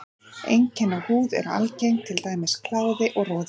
Einkenni á húð eru algeng, til dæmis kláði og roði.